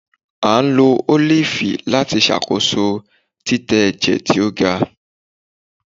a lo olifi lati ṣakoso titẹ ẹjẹ ti o ga.